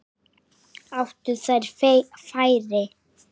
Áttu þeir færi?